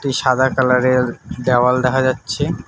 সাদা কালারের দেওয়াল দেখা যাচ্ছে।